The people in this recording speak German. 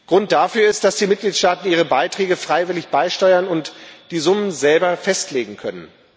Grund dafür ist, dass die Mitgliedstaaten ihre Beiträge freiwillig beisteuern und die Summen selber festlegen können.